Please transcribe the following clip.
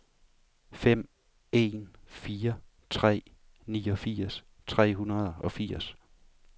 fem en fire tre niogfirs tre hundrede og firs